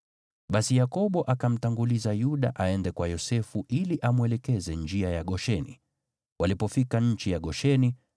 Basi Yakobo akamtanguliza Yuda aende kwa Yosefu ili amwelekeze njia ya Gosheni. Walipofika nchi ya Gosheni,